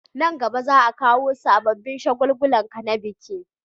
Nan gaba za a kawo sabobin shagaluluka na biki